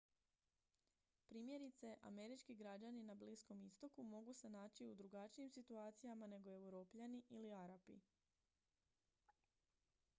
primjerice američki građani na bliskom istoku mogu se naći u drugačijim situacijama nego europljani ili arapi